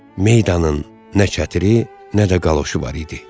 Meydanın nə çətiri, nə də qaloşu var idi.